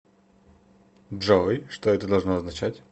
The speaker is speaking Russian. джой что это должно означать